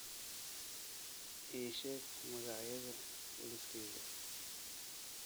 ii sheeg magacyada liiskayga